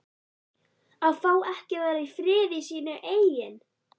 AÐ FÁ EKKI AÐ VERA Í FRIÐI Í SÍNU EIGIN